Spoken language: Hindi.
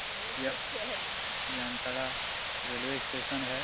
यह जामताड़ा रैलवे स्टेशन हैं।